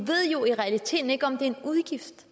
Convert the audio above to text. i realiteten ikke om det er en udgift